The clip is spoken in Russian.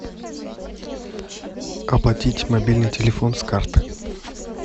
оплатить мобильный телефон с карты